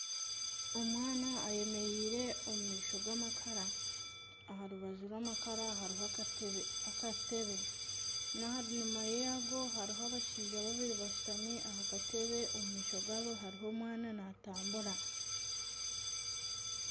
Omwana ayemereire omu maisho g'amakara aha rubaju rw'amakara hariho akatebe n'aha nyuma yago hariho abashaija babiri bashutami aha katebe omu maisho gaabo hariho omwana natambura.